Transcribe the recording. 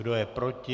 Kdo je proti?